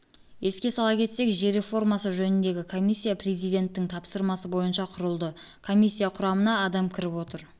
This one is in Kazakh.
еске сала кетсек жер реформасы жөніндегі комиссия президенттің тапсырмасы бойынша құрылды комиссия құрамына адам кіріп отыр